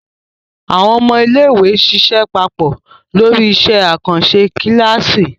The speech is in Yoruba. Àwọn ọmọ iléèwé ṣiṣẹ́ papọ̀ lórí iṣẹ́ àkànṣe kíláàsì